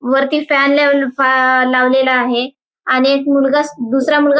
वरती फॅन ले लावलेला आहे आणि एक मुलगा स दूसरा मुलगा--